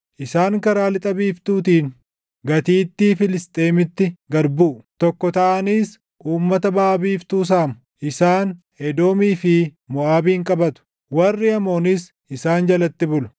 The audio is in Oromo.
Isaan karaa lixa biiftuutiin gatiittii Filisxeemitti gad buʼu; tokko taʼaniis uummata baʼa biiftuu saamu. Isaan Edoomii fi Moʼaabin qabatu; warri Amoonis isaan jalatti bulu.